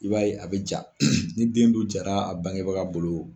I b'a ye a bɛ ja ni den dun jara a bangebaga bolo